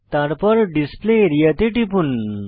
তারপর display area তে টিপুন